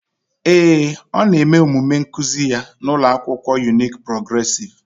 Ee e, ọ na-eme omume nkuzi ya n'ụlọ akwụkwọ Unique Progressive.